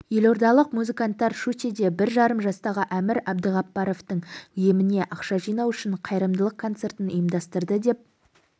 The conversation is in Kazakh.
елордалық музыканттар щучьеде бір жарым жастағы әмір әбдіғапаровтың еміне ақша жинау үшін қайырымдылық концертін ұйымдастырды деп